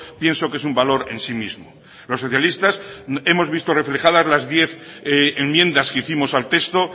pienso que es un valor en sí mismo los socialistas hemos visto reflejadas las diez enmiendas que hicimos al texto